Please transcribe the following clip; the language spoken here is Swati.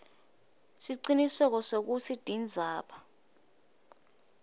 siciniseko sekutsi tindzaba